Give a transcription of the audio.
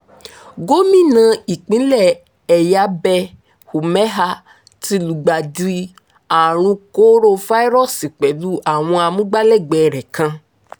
gómìnà ìpínlẹ̀ ẹ̀yábẹ́ umeha ti lùgbàdì àrùn kórafáírọ́ọ̀sì pẹ̀lú àwọn amúgbálẹ̀gbẹ́ rẹ̀ kan